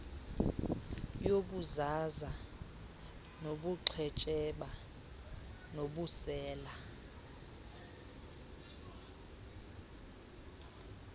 yobuzaza bobuqhetseba nobusela